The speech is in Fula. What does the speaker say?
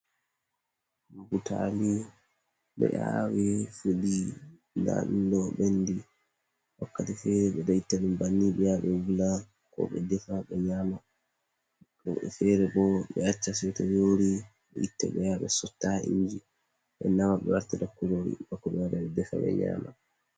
Butaali ɓe aawi fuɗi, ndaa ɗum ɗo ɓenndi, wakkati feere ɓe ɗo itta ɗum banni, ɓe yaha ɓe wula, ko ɓe defa ɓe nyaama. Woɓɓe feere bo ɓe acca seeto yoori, ɓe itta bo ɓe yaha ɓe sotta haa inji, ɓe nama, ɓe wartira kuroori, bako ɓe wara, ɓe defa, ɓe nyaama.